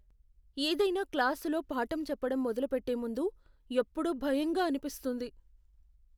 ఏదైనా క్లాసులో పాఠం చెప్పడం మొదలుపెట్టే ముందు ఎప్పుడూ భయంగా అనిపిస్తుంది.